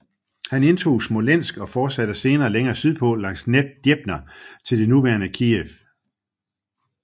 Han indtog Smolensk og fortsatte senere længere sydpå langs Dnepr til det nuværende Kijev